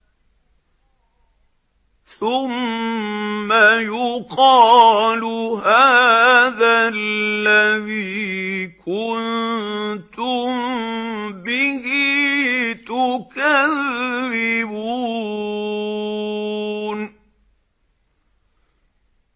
ثُمَّ يُقَالُ هَٰذَا الَّذِي كُنتُم بِهِ تُكَذِّبُونَ